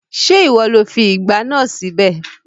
Ṣé ìwọ lo fi ìgbá náà síbẹ̀?